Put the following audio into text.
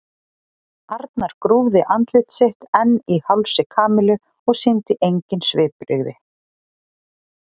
Arnar grúfði andlit sitt enn í hálsi Kamillu og sýndi engin svipbrigði.